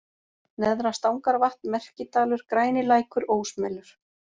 Neðra-Stangarvatn, Merkidalur, Grænilækur, Ósmelur